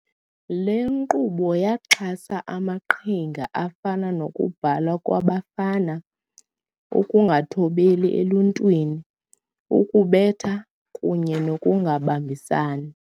Le nkqubo yaxhasa amaqhinga afana nokubhalwa kwabafana, ukungathobeli eluntwini, ukubetha, kunye nokungabambisani.